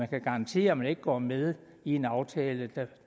kan garantere at man ikke går med i en aftale der